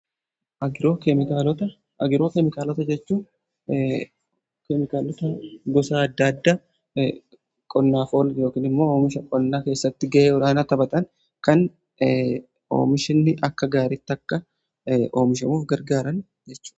Agirookeemikaalota jechuun keemikaalota gosa adda addaa qonnaaf oolan yookiin immoo oomisha qonnaa keessatti ga'ee olaanaa taphatan kan oomishni akka gaariitti akka oomishamuuf gargaaran jechuudha.